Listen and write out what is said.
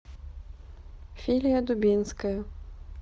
филия дубинская